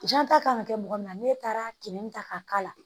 Janta kan ka kɛ mɔgɔ min na n'e taara kinin ta k'a k'a la